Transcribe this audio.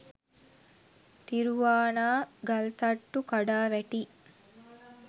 තිරුවානා ගල්තට්ටු කඩා වැටී